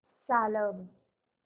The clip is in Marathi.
चालव